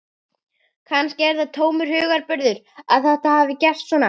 Kannski er það tómur hugarburður að þetta hafi gerst svona.